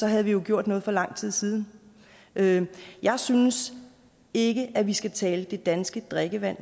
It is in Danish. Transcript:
havde vi jo gjort noget for lang tid siden jeg synes ikke at vi skal tale det danske drikkevand